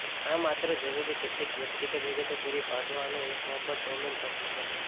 આ માત્ર જરૂરી કેટલીક વ્યક્તિગત વિગતો પૂરી પાડવા અને એક મફત ડોમેન પસંદ કરશે